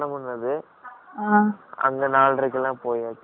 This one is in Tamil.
அங்க் நாலரைக்கெல்லாம் போயாச்சு. இப்ப ஏழரை மணி நேரம் correct ஆ.